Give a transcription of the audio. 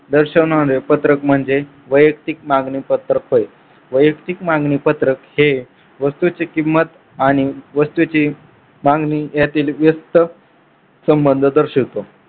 दर्शवणारे पत्रक म्हणजे वैयक्तिक मागणी पत्रक होय. वैयक्तिक मागणी पत्रक हे वस्तूची किंमत आणि वस्तूची मागणी यातील व्यस्त संबंध दर्शवतो.